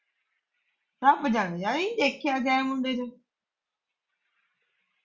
ਰੱਬ ਜਾਣੇ- ਜਾਣੇ ਦੇਖਿਆ ਕਿਆ ਮੁੰਡੇ ਦੇ ਵਿੱਚ